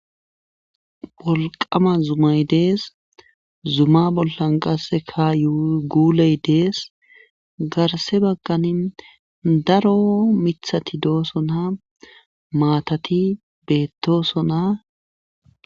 Bolqama zumay dees zuma bollan qasse ka yuguuley dees garse baggani daro mithati doosona maatati beettosona.